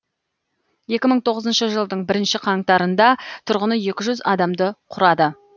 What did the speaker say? екі мың тоғызыншы жылдың бірінші қаңтарында тұрғыны екі жүз адамды құрады